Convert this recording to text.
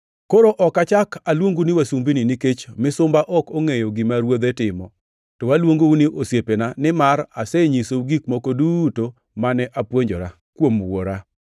Koro ok achak aluongu ni wasumbini nikech misumba ok ongʼeyo gima ruodhe timo; to aluongou ni osiepena nimar asenyisou gik moko duto mane apuonjora kuom Wuora.